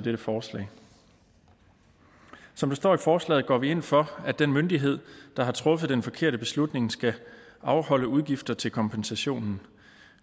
dette forslag som det står i forslaget går vi ind for at den myndighed der har truffet den forkerte beslutning skal afholde udgifter til kompensationen